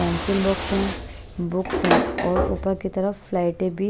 pencil box है books हैं और ऊपर की तरफ फ्लाइट भी--